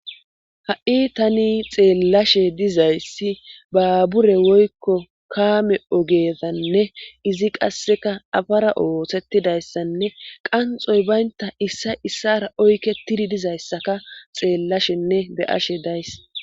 Ha'i tani xeellashe dizayssi baabure woykko kaame ogeezanne izi qasseka afara oosettidayssanne qanxoy baynta issa issara oykke tiri dizayssaka xeellashenne be'ashe days.